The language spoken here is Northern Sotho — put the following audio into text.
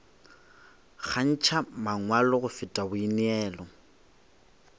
kgantšha mangwalo go feta boineelo